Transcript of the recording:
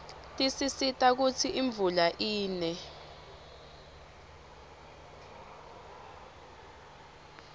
tisisita kutsi imvula ine